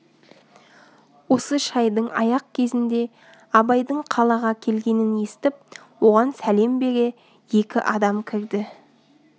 осы шайдың аяқ кезінде абайдың қалаға келгенін естіп оған сәлем бере екі адам кірді